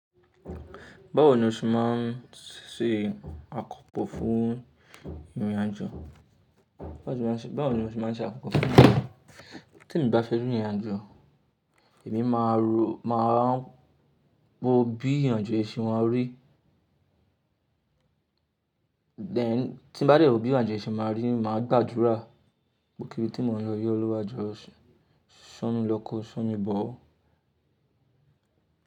Báwo ni o ṣe máa ń ṣe àkópò fún ìrìnàjò? Bá tí mo bá fẹ́ rìn ìrìnàjò, èmi máa ń ro, máa ń wo bí ìrìnàjò yìí ṣe máa rí. Then tí mo bá de wò bí ìrìnàjò yìí ṣe máa rí, màá gbàdúrà, gbo ibikibi tí mo lọ yii Olúwa jọ so mi lọ́, ko so mi bọ̀ o.